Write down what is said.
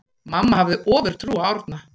Mamma hafði ofurtrú á Árna.